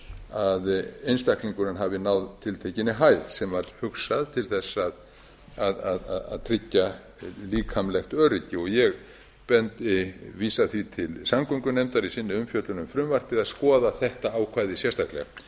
að einstaklingurinn hafi náð tiltekinni hæð sem var hugsað til þess að tryggja líkamlegt öryggi ég vísa því til samgöngunefndar í sinni umfjöllun um frumvarpið að skoða þetta ákvæði sérstaklega